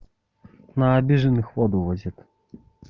на обиженных воду возят